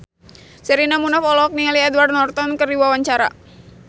Sherina Munaf olohok ningali Edward Norton keur diwawancara